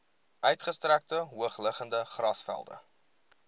uitgestrekte hoogliggende grasvelde